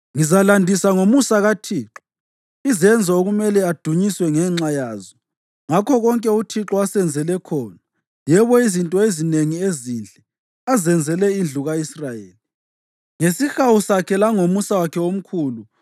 Ngizalandisa ngomusa kaThixo, izenzo okumele adunyiswe ngenxa yazo, ngakho konke uThixo asenzele khona, yebo, izinto ezinengi ezinhle azenzele indlu ka-Israyeli, ngesihawu sakhe langomusa wakhe omkhulu.